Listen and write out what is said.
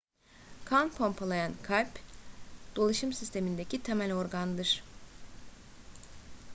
kan pompalayan kalp dolaşım sistemindeki temel organdır